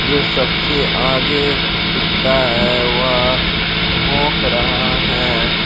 जो सबसे आगे कुत्ता है वह भोक रहा है।